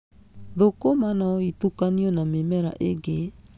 Thũkũma no itukanio na mĩmera ĩngĩ.